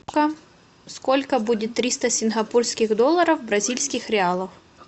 сколько будет триста сингапурских долларов в бразильских реалах